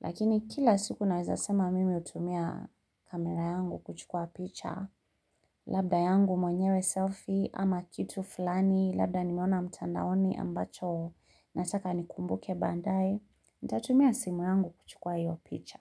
Lakini kila siku naweza sema mimi utumia kamera yangu kuchukua picha. Labda yangu mwenyewe selfie ama kitu fulani. Labda nimeona mtandaoni ambacho nataka nikumbuke badaye. Nitatumia simu yangu kuchukua hiyo picha.